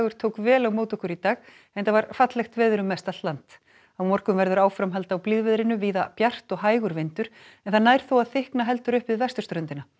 tók vel á móti okkur í dag enda var fallegt veður um mest allt land á morgun verður áframhald á blíðviðrinu víða bjart og hægur vindur en það nær þó að þykkna heldur upp við vesturströndina